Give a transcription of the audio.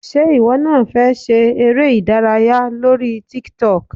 Ṣé ìwọ náà fẹ́ ṣe eré - ìdárayá lórí tiktok?